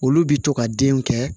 Olu bi to ka denw kɛ